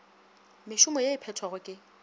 mešomo ye e phethwago ke